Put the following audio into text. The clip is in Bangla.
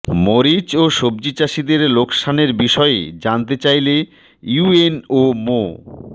মরিচ ও সবজি চাষিদের লোকসানের বিষয়ে জানতে চাইলে ইউএনও মো